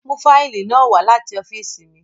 Mu faili naa wa lati ọfiisi mi!